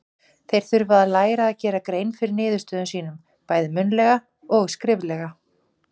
Þeir þurfa að læra að gera grein fyrir niðurstöðum sínum, bæði munnlega og skriflega.